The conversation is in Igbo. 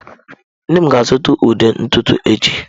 Nne m ga-azụta ude ntutu echi.